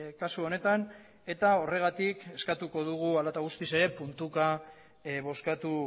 kasu honetan eta horregatik eskatuko dugu hala eta guztiz ere puntuka bozkatu